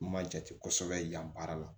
N ma jate kosɛbɛ yan baara la